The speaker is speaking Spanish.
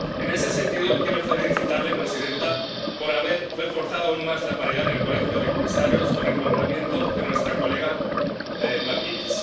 En este sentido quiero felicitarla, presidenta, por haber reforzado aún más la paridad en el colegio de comisarios con el nombramiento de nuestra colega McGuinness.